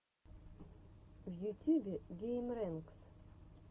в ютюбе геймрэнкс